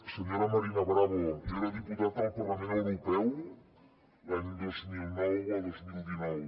senyora marina bravo jo era diputat al parlament europeu l’any dos mil nou a dos mil dinou